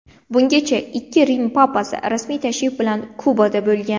Bungacha ikki Rim papasi rasmiy tashrif bilan Kubada bo‘lgan.